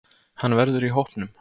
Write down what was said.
Hann verður í hópnum.